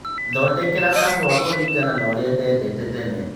thodekera kahũwa kũringana na ũrĩa ndendete tene